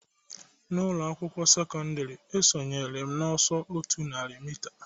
N'ụlọ akwụkwọ sekọndrị, esonyere m n'ọsọ otu narị mita